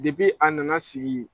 Depi a na na sigi